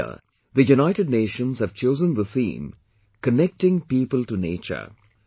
This year the United Nations have chosen the theme 'Connecting People to Nature'